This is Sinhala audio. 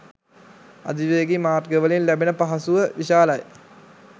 අධිවේගී මාර්ගවලින් ලැබෙන පහසුව විශාලයි.